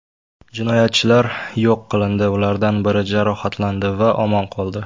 Jinoyatchilar yo‘q qilindi, ulardan biri jarohatlandi va omon qoldi.